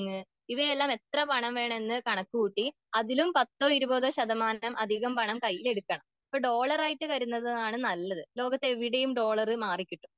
ഇവയെല്ലാം എത്ര പണം വേണമെന്ന് കണക്ക് കൂട്ടി അതിലും പത്തോ ഇരുപതോ ശതമാനം അധികം കയ്യിലെടുക്കണം.ഇപ്പൊ ഡോളറായിട്ട് കരുതുന്നതാണ് നല്ലത്.ലോകത്ത് എവിടെയും ഡോളർ മാറിക്കിട്ടും.